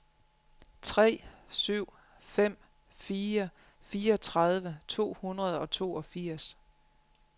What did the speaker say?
tre syv fem fire fireogtredive to hundrede og toogfirs